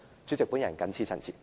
主席，我謹此陳辭。